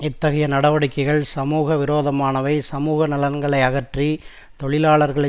இத்கைய நடவடிக்கைகள் சமூக விரோதமானவை சமூக நலன்களை அகற்றி தொழிலாளர்களை